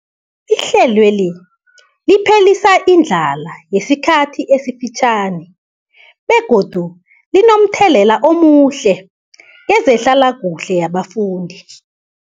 Ihlelweli liphelisa indlala yesikhathi esifitjhani begodu linomthelela omuhle kezehlalakuhle yabafundi.